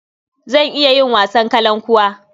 Zan iya yin wasan kalankuwa.